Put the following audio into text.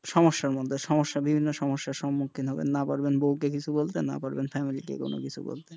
সমস্যার মধ্যে সমস্যার বিভিন্ন সমস্যার সম্মুখীন হবেন না পারবেন বউ কে কিছু বলতে না পারবেন family কে কোনো কিছু বলতে,